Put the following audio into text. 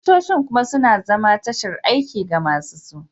Ofisoshin kuma suna zama tashar aiki ga masu su